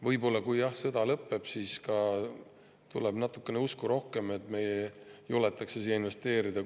Võib-olla, jah, kui sõda lõpeb, siis tuleb ka natukene rohkem usku ja juletakse siia investeerida.